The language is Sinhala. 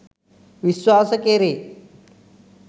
විශ්වාස කෙරේ